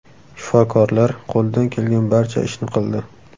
Shifokorlar qo‘lidan kelgan barcha ishni qildi.